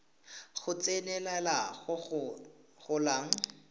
go tsenelela go go golang